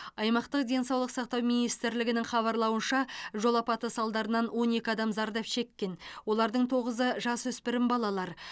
аймақтық денсаулық сақтау министрлігінің хабарлауынша жол апаты салдарынан он екі адам зардап шеккен олардың тоғызы жасөспірім балалар